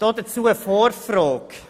Dazu eine vorgängige Frage: